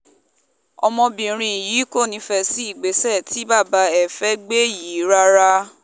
ọmọbìnrin yìí kò nífẹ̀ẹ́ sí ìgbésẹ̀ tí bàbá ẹ̀ fẹ́ẹ́ gbé yìí rárá